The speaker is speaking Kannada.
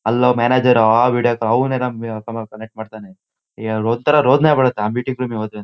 ಅಲ್ಲೊಬ್ ಮ್ಯಾನೇಜರ್ ಆ ವೀಡಿಯೊ ಕಾಲ್ ಅವನೇನೋ ಮಾಡ್ತಾನೆ. ಅಹ ಒಂತರ ರೋದನೆ ಬರುತ್ತೆ